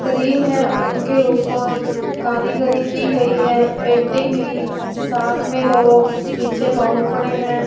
Cream है उनके ऊपर कारीगरी की गई है पेंटिंग की साथ में दो पीछे बाउल पड़े हैं।